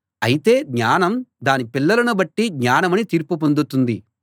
అయితే జ్ఞానం దాని పిల్లలను బట్టి జ్ఞానమని తీర్పు పొందుతుంది